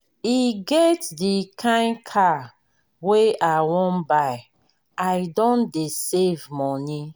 e get di kain car wey i wan buy i don dey save moni.